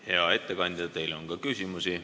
Hea ettekandja, teile on küsimusi.